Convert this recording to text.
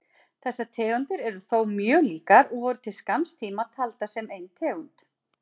Þessar tegundir eru þó mjög líkar og voru til skamms tíma taldar sem ein tegund.